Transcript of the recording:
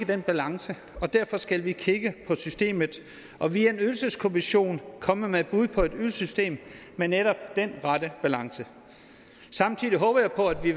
den balance derfor skal vi kigge på systemet og via en ydelseskommission komme med et bud på et ydelsessystem med netop den rette balance samtidig håber jeg på at vi